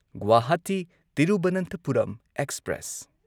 Guwahati Thiruvananthapuram express